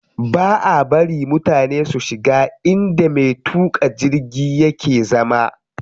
Baʼa bari mutane su shiga inda me tuƙa jirgi yake zama.